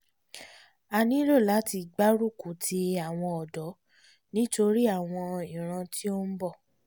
a nílò láti gbárùkù ti àwọn ọ̀dọ́ nítorí àwọn ìran tó ń bọ̀